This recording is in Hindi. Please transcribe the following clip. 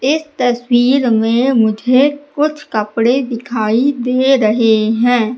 इस तस्वीर में मुझे कुछ कपड़े दिखाई दे रहे हैं।